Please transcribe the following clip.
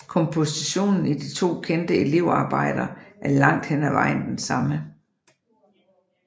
Kompositionen i de to kendte elevarbejder er langt hen ad vejen den samme